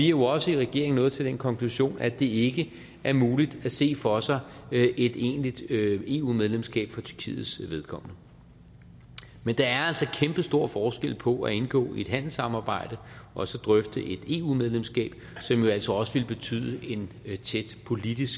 jo også i regeringen nået til den konklusion at det ikke er muligt at se for sig et egentligt eu medlemskab for tyrkiets vedkommende men der er altså kæmpestor forskel på at indgå i et handelssamarbejde og så drøfte et eu medlemskab som jo altså også ville betyde en tæt politisk